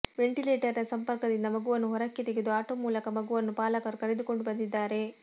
ventilator ನ ಸಂಪರ್ಕ ದಿಂದ ಮಗುವನ್ನು ಹೊರಕ್ಕೆ ತೆಗೆದು ಆಟೋ ಮೂಲಕ ಮಗುವನ್ನು ಪಾಲಕರು ಕರೆದುಕೊಂಡು ಬಂದಿದ್ದಾರೆ